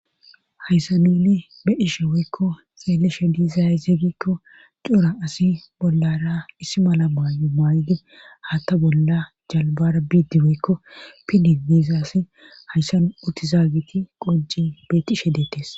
hayssa nini be dhishe woykko xeeleshe diizayze gikko cora asi bollara issi mala maayu maayde haatta bolla jalbara biiddi woykko pidi deezaassi hayssan uti zaageti qoji beetishe deetes